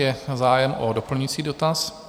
Je zájem o doplňující dotaz?